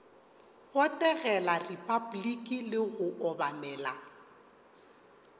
botegela repabliki le go obamela